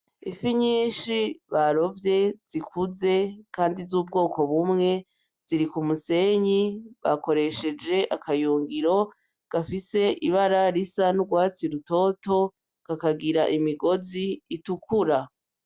Ifi nyinshi barovye zikuze Kandi zubwoko bumwe ,ziri kumusenyi bakoresheje akayungiro gafise ibara risa ryurwatsi rutoto kakagira imigozi utukura.